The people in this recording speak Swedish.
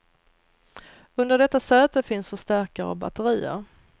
Under detta säte finns förstärkare och batterier.